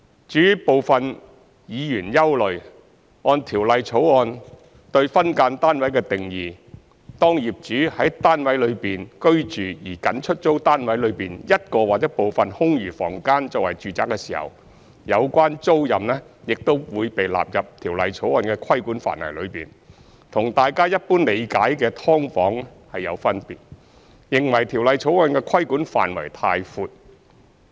至於部分議員憂慮，按《條例草案》對"分間單位"的定義，當業主在單位內居住而僅出租單位內一個或部分空餘房間作為住宅時，有關租賃亦會被納入《條例草案》的規管範圍內，與大眾一般理解的"劏房"有分別，認為《條例草案》的規管範圍太闊。